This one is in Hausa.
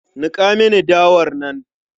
Niƙa mini dawar nan.